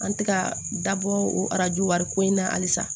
An tɛ ka dabɔ o arajo wari ko in na halisa